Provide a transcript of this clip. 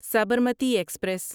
Sabarmati express